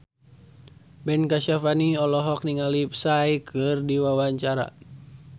Ben Kasyafani olohok ningali Psy keur diwawancara